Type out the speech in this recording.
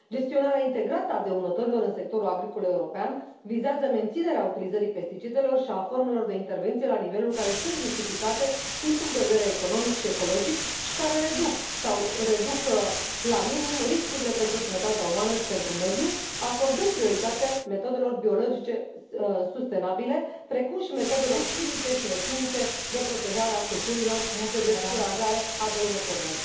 Gestionarea integrată a dăunătorilor în sectorul agricol european vizează menținerea utilizării pesticidelor și a formelor de intervenție la niveluri care sunt justificate din punct de vedere economic și ecologic și care reduc sau reduc la minim riscurile pentru sănătatea umană și pentru mediu, acordând prioritate metodelor biologice sustenabile, precum și metodelor fizice și chimice de protejare a culturilor și de descurajare a dăunătorilor.